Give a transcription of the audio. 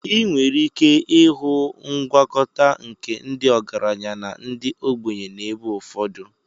Ị nwere ike ịhụ ngwakọta nke ndị ọgaranya na ndị ogbenye n'ebe ụfọdụ.